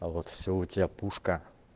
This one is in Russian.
а вот все у тебя пушка